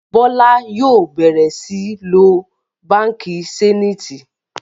Bola yóò bẹrẹ sìn ló bánkì Zenith